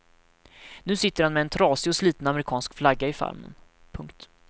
Nu sitter han med en trasig och sliten amerikansk flagga i famnen. punkt